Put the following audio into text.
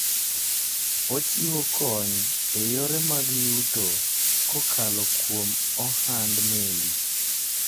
Ochiwo kony e yore mag yuto kokalo kuom ohand meli.